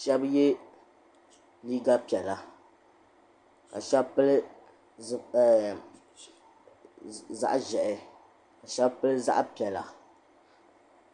sheba ye liiga piɛla ka sheba pili zaɣa ʒehi ka sheba pili zaɣa piɛla.